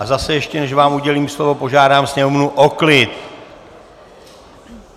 A zase ještě, než vám udělím slovo, požádám sněmovnu o klid.